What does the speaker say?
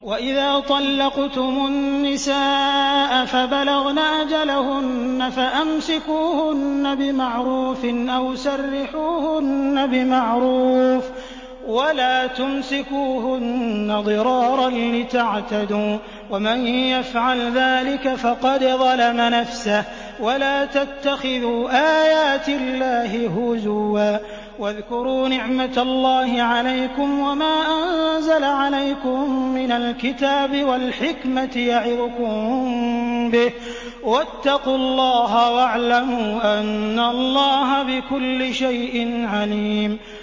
وَإِذَا طَلَّقْتُمُ النِّسَاءَ فَبَلَغْنَ أَجَلَهُنَّ فَأَمْسِكُوهُنَّ بِمَعْرُوفٍ أَوْ سَرِّحُوهُنَّ بِمَعْرُوفٍ ۚ وَلَا تُمْسِكُوهُنَّ ضِرَارًا لِّتَعْتَدُوا ۚ وَمَن يَفْعَلْ ذَٰلِكَ فَقَدْ ظَلَمَ نَفْسَهُ ۚ وَلَا تَتَّخِذُوا آيَاتِ اللَّهِ هُزُوًا ۚ وَاذْكُرُوا نِعْمَتَ اللَّهِ عَلَيْكُمْ وَمَا أَنزَلَ عَلَيْكُم مِّنَ الْكِتَابِ وَالْحِكْمَةِ يَعِظُكُم بِهِ ۚ وَاتَّقُوا اللَّهَ وَاعْلَمُوا أَنَّ اللَّهَ بِكُلِّ شَيْءٍ عَلِيمٌ